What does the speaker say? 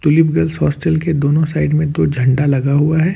Tulip girls hostel के दोनों side में दो झंडा लगा हुआ है।